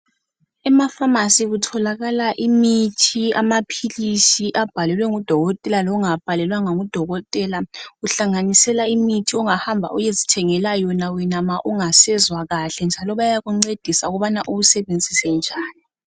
Ephamasi kutholakala imithi , amaphilisi owabhalelwe ngudokotela longawabhalelwanga ngu dokotela, kuhlanganisela imithi ongahamba uyezithengela yona wena ma ungasezwa kahle njalo bayakuncedisa ukubana uwusebenzise njani